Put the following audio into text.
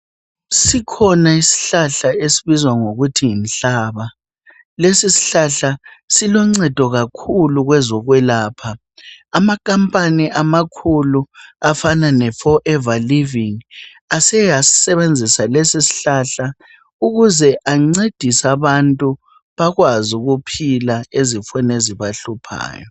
Sikhona isihlahla esibizwa ngokuthi yinhlaba , lesi isihlahla siluncedo kakhulu kwezokwelapha , amakhampani amakhulu afana le for ever living aseke asisebenzisa lesishlahla ukuze ancedise abantu bakwazi ukuphila ezifeni ezibahluphayo